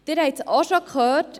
Sie haben es auch schon gehört: